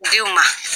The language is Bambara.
Denw ma